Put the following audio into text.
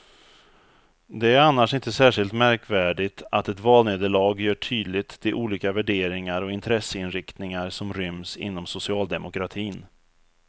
Det är annars inte särskilt märkvärdigt att ett valnederlag gör tydligt de olika värderingar och intresseinriktningar som ryms inom socialdemokratin.